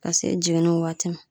Ka se jiginniw waati ma